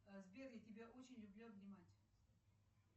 сбер я тебя очень люблю обнимать